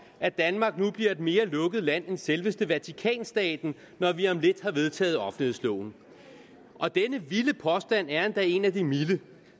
at danmark nu bliver et mere lukket land end selveste vatikanstaten når vi om lidt har vedtaget offentlighedsloven denne vilde påstand er endda en af de milde